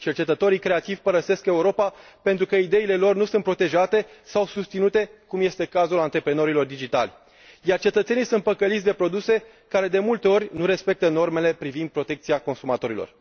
Cercetătorii creativi părăsesc Europa pentru că ideile lor nu sunt protejate sau susținute, cum este cazul antreprenorilor digitali, iar cetățenii sunt păcăliți de produse care de multe ori nu respectă normele privind protecția consumatorilor.